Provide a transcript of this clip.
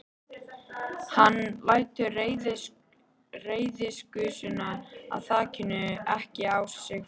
Hann lætur reiðigusuna af þakinu ekki á sig fá.